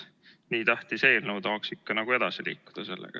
Nii tähtis eelnõu, tahaks ikka edasi liikuda sellega.